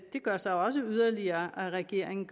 gør så også yderligere at regeringen